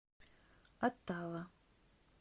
оттава